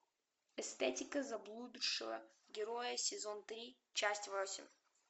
эстетика заблудшего героя сезон три часть восемь